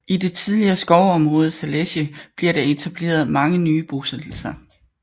I det tidligere skovområde Zalesje blev der etableret mange nye bosættelser